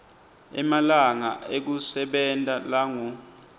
emalanga ekusebenta langu